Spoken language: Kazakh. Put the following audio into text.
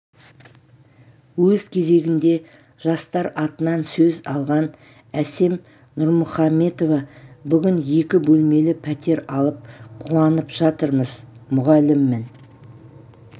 өз кезегінде жастар атынан сөз алған әсем нұрмұхаметова бүгін екі бөлмелі пәтер алып қуанып жатырмыз мұғаліммін